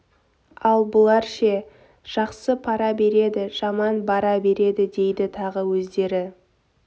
ал бұлар ше жақсы пара береді жаман бара береді дейді тағы өздері